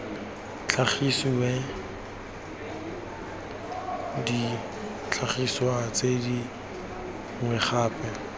tlhagisiwe ditlhagiswa tse dingwe gape